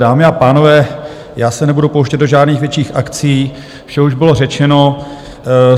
Dámy a pánové, já se nebudu pouštět do žádných větších akcí, vše už bylo řečeno.